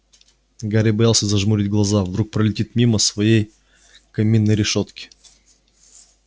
гарри боялся зажмурить глаза вдруг пролетит мимо своей каминной решётки